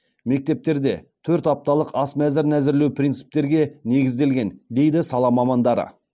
мектептерде төрт апталық ас мәзірін әзірлеу принциптерге негізделген дейді сала мамандары